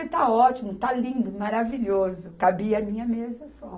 Eu falei, está ótimo, está lindo, maravilhoso, cabia a minha mesa só.